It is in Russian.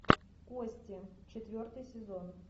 кости четвертый сезон